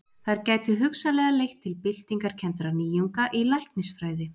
Þær gætu hugsanlega leitt til byltingarkenndra nýjunga í læknisfræði.